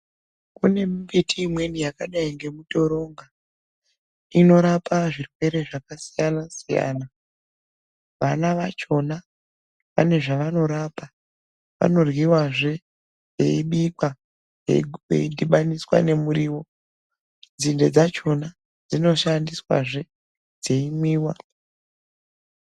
Kune mimbiti imweni yakadai ngemutoronga, inorapa zvirwere zvakasiyana-siyana. Vana vachona vane zvavanorapa. Vanoryiwazve ,veyibikwa, veyi dhibhaniswa nemuriwo, nzinde dzachona dzinoshandiswazve dzeyimwiwa.